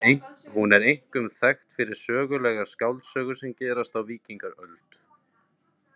Hún er einkum þekkt fyrir sögulegar skáldsögur sem gerast á Víkingaöld.